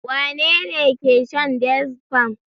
Wane ne ke shan Diazefam?